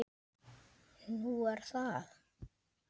Nú er það?